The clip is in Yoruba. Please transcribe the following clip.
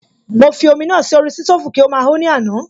Mo fi omi náà sí orí sítòfù kí ó máa ho ní àná